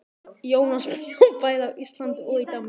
Jónas bjó bæði á Íslandi og í Danmörku.